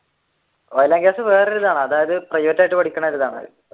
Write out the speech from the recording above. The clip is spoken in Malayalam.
oil and gas വേറെയൊരു ഇതാണ് അതായതു പ്രൈവറ്റ് ആയിട്ട് പഠിക്കുന്ന ഒരു ഇതാണ്.